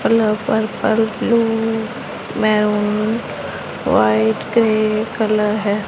Colour purple blue maroon white grey colour हैं।